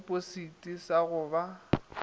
sa tipositi sa go ba